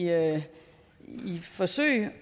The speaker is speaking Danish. forsøg